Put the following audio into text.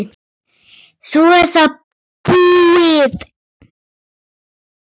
Svo er það búið.